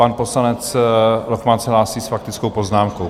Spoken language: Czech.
Pan poslanec Lochman se hlásí s faktickou poznámkou.